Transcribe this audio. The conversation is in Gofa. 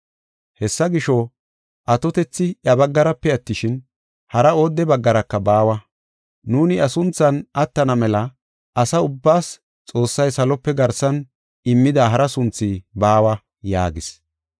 Hessa gisho, atotethi iya baggarape attishin, hara oodde baggaraka baawa. Nuuni iya sunthan attana mela asa ubbaas Xoossay salope garsan immida hara sunthi baawa” yaagis.